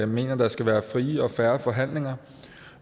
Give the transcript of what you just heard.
mener at der skal være frie og fair forhandlinger